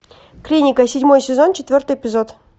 клиника седьмой сезон четвертый эпизод